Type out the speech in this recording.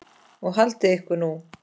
Og haldið ykkur nú.